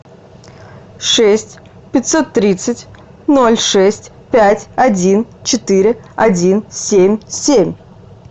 шесть пятьсот тридцать ноль шесть пять один четыре один семь семь